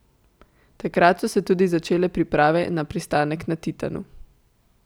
Takrat so se tudi začele priprave na pristanek na Titanu.